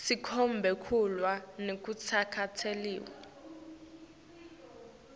sikhombe kulwa nekutsatselwa